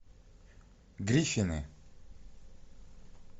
гриффины